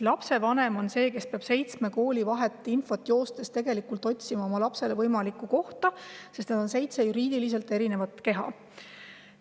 Lapsevanem on see, kes peab seitsme kooli vahet joostes infot ja lapsele kohta otsima, sest on seitse juriidiliselt erinevat keha.